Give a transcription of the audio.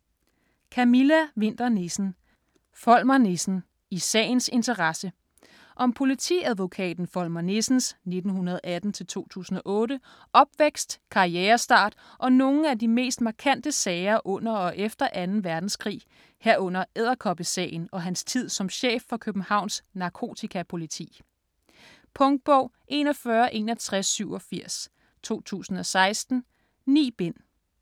Winther Nissen, Camilla: Volmer Nissen - i sagens interesse Om politiadvokaten Volmer Nissens (1918-2008) opvækst, karrierestart og nogle af de mest markante sager under og efter 2. verdenskrig, herunder "Edderkoppesagen" og hans tid som chef for Københavns Narkotikapoliti. Punktbog 416187 2016. 9 bind.